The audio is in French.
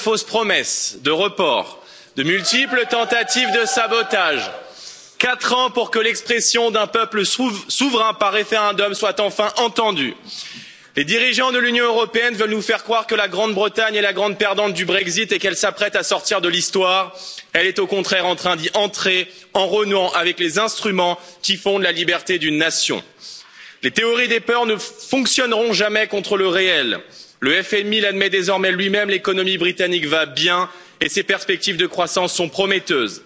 Madame la Présidente, nous y voilà donc enfin! Il aura donc fallu quatre ans. Quatre ans de fausses promesses, de reports, de multiples tentatives de sabotage. Quatre ans pour que l'expression d'un peuple souverain par référendum soit enfin entendue. Les dirigeants de l'Union européenne veulent nous faire croire que la Grande Bretagne est la grande perdante du Brexit et qu'elle s'apprête à sortir de l'Histoire, elle est au contraire en train d'y entrer en renouant avec les instruments qui fondent la liberté d'une nation. Les théories des peurs ne fonctionneront jamais contre le réel le FMI l'admet désormais lui même, l'économie britannique va bien et ses perspectives de croissance sont prometteuses.